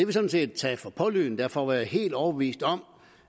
vi sådan set taget for pålydende og derfor var jeg helt overbevist om